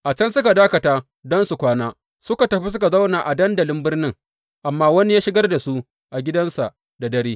A can suka dakata don su kwana, suka tafi suka zauna a dandali birnin, amma wani ya shigar da su gidansa da daren.